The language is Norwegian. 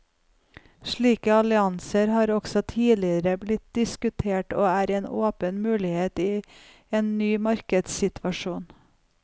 Slike allianser har også tidligere blitt diskutert og er en åpen mulighet i en ny markedssituasjon.